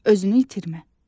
Özünü itirmə.